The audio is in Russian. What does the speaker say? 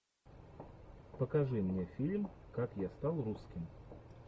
покажи мне фильм как я стал русским